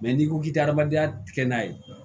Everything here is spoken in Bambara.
n'i ko k'i bɛ adamadenya kɛ n'a ye